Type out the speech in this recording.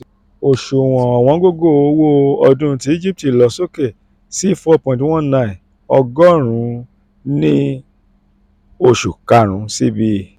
oṣuwọn owongogo owo ododun ti egipti lọ soke si four point one nine ogorun ní ní oṣù karun: cbe